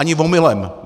Ani omylem!